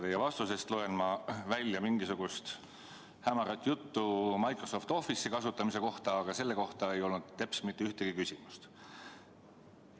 Teie vastusest loen ma välja mingisugust hämarat juttu Microsoft Office'i kasutamise kohta, aga selle kohta ei olnud teps mitte ühtegi küsimust.